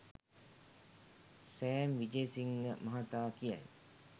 Sam Wijesinghe මහතා කියයි